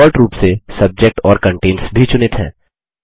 default रूप से subject और कंटेन्स भी चुनित हैं